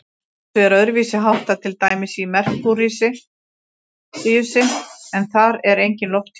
Þessu er öðruvísi háttað til dæmis á Merkúríusi, en þar er enginn lofthjúpur.